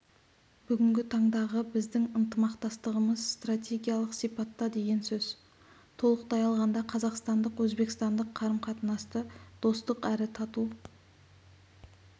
бүгінгі таңдағы біздің ықтымақтастығымыз стратегиялық сипатта деген сөз толықтай алғанда қазақстандық-өзбекстандық қарым-қатынасты достық әрі тату